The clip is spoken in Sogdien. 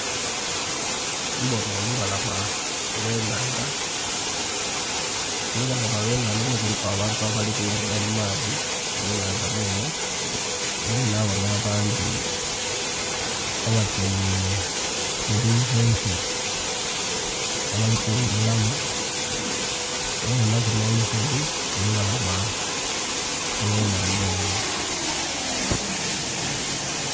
Mbona olubalama olw'ennhandha, ku lubalama lw'enhandha okwo kuliku abantu abali kughuga mu maadhi mu nnhandha mwenhe ela nabonha abandhi abatyaime mu binsense abali kughumulamu, nhabonhaku nh'olusozi ku lubalama olw'enhandha olwo.